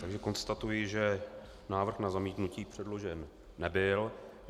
Takže konstatuji, že návrh na zamítnutí předložen nebyl.